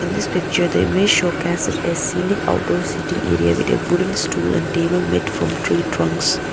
in this picture the image showcased a scenic outdoor sitting area with a wooden stool and table made from tree trunks.